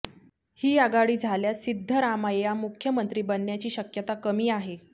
ही आघाडी झाल्यास सिद्धरामय्या मुख्यमंत्री बनण्याची शक्यता कमी आहे